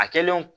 A kɛlen o